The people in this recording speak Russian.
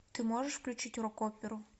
ты можешь включить рок оперу